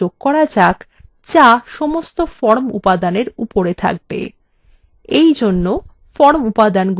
এখন একটি শিরোলেখ লেখা যাক যা সমস্ত form উপাদানের উপরে থাকবে